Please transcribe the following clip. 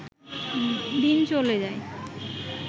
দিন চলে যায়